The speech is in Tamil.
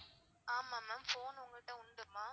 ஆமா ma'am phone உங்கள்ட்ட உண்டுமா?